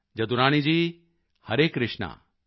Jadurani ji Hare Krishna